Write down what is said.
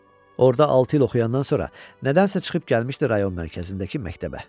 Orda altı il oxuyandan sonra nədənsə çıxıb gəlmişdi rayon mərkəzindəki məktəbə.